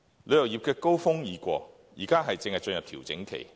旅遊業的高峰期已過，現正進入調整期。